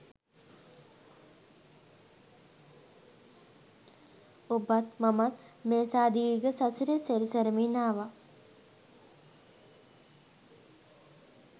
ඔබත්, මමත් මේසා දීර්ඝ සසරේ සැරිසරමින් ආවා.